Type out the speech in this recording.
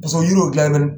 Paseke o yiriw dilan tɛ